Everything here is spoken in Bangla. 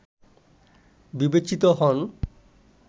বিবেচিত হন